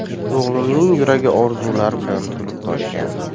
O‘g‘limning yuragi orzular bilan to‘lib-toshgan.